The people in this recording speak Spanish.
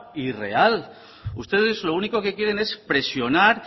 irreal ustedes lo único que quieren es presionar